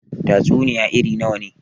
Tatsuniya irn nawa ne?